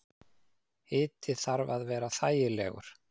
Hiti þarf að vera þægilegur.